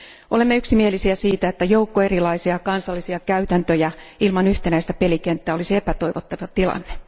Olemme yksimielisiä siitä, että joukko erilaisia kansallisia käytäntöjä ilman yhtenäistä pelikenttää olisi epätoivottava tilanne.